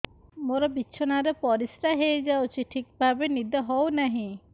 ମୋର ବିଛଣାରେ ପରିସ୍ରା ହେଇଯାଉଛି ଠିକ ଭାବେ ନିଦ ହଉ ନାହିଁ